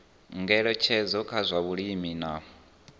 ngeletshedzo kha zwa vhulimi na